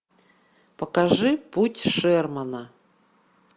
покажи путь шермана